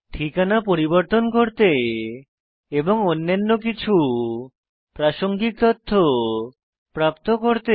ঠিকানা পরিবর্তন করতে এবং অন্যান্য কিছু প্রাসঙ্গিক তথ্য প্রাপ্ত করতে